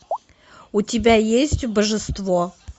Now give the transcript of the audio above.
у тебя есть божество